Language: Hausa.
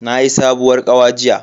Nayi sabuwar kawa jiya.